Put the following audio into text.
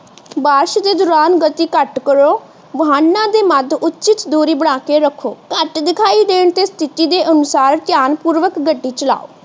ਬਾਰਿਸ਼ ਦੇ ਦੌਰਾਨ ਗਤੀ ਘੱਟ ਕਰੋ ਵਾਹਨਾਂ ਦੇ ਮੱਧ ਉਚਿੱਤ ਦੂਰੀ ਬਣਾ ਕੇ ਰੱਖੋ ਘੱਟ ਦਿਖਾਈ ਦੇਣ ਤੇ ਸਥਿਤੀ ਦੇ ਅਨੁਸਾਰ ਧਿਆਨਪੂਰਵਕ ਗੱਡੀ ਚਲਾਓ